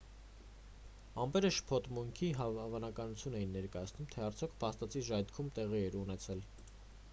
ամպերը շփոթմունքի հավանականություն էին ներկայացնում թե արդյոք փաստացի ժայթքում տեղի էր ունեցել